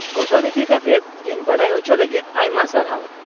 ᱜᱷᱚᱴᱚᱱ ᱤᱫᱤ ᱠᱟᱛᱮᱫ ᱤᱧ ᱵᱟᱰᱟᱭ ᱚᱪᱚ ᱞᱟᱹᱜᱤᱫ ᱟᱭᱢᱟ ᱥᱟᱨᱦᱟᱣ ᱾